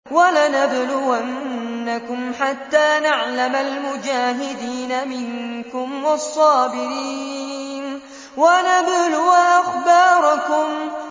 وَلَنَبْلُوَنَّكُمْ حَتَّىٰ نَعْلَمَ الْمُجَاهِدِينَ مِنكُمْ وَالصَّابِرِينَ وَنَبْلُوَ أَخْبَارَكُمْ